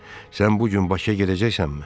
Sən bu gün Bakıya gedəcəksənmi?